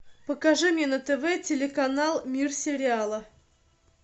покажи мне на тв телеканал мир сериала